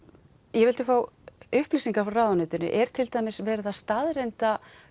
ég vildi fá upplýsingar frá ráðuneytinu er til dæmis verið að staðreyna